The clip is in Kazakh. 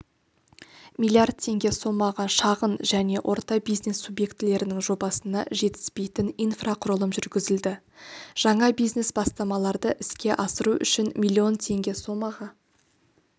миллиард теңге сомаға шағын және орта бизнес субъектілерінің жобасына жетіспейтін инфрақұрылым жүргізілді жаңа бизнес бастамаларды іске асыру үшін миллион теңге сомаға